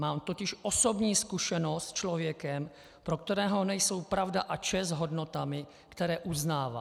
Mám totiž osobní zkušenost s člověkem, pro kterého nejsou pravda a čest hodnotami, které uznává.